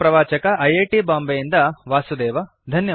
ಇದರ ಪ್ರವಾಚಕ I I T Bombay ಯಿಂದ ವಾಸುದೇವ